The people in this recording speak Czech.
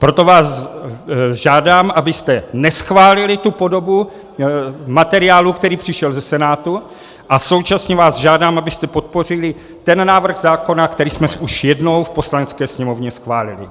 Proto vás žádám, abyste neschválili tu podobu materiálu, který přišel ze Senátu, a současně vás žádám, abyste podpořili ten návrh zákona, který jsme už jednou v Poslanecké sněmovně schválili.